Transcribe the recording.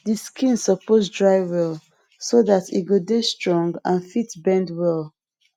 de skin suppose dry well so that e go dey strong and fit bend well